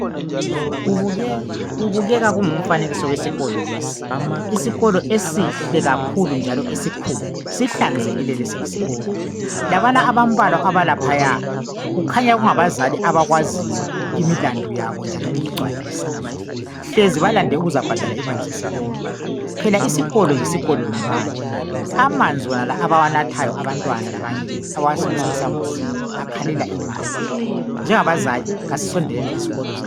Kubukeka kungumfanekiso wesikolo lesi, isikolo esihle kakhulu njalo esikhulu sihlanzikile lesi isikolo. Labana abambalwa abalaphaya kukhanya kungabazali abakwaziyo imilandu yabo njalo beyigcwalisa hlezi balande ukuzobhadala imali zesikolo phela isikolo yisikolo ngemali amanzi anala esiwanathayo abantwana kanye abawasebenzisa lesambuzini akhalela imali njengabazali asisondeleni ezikolo zethu.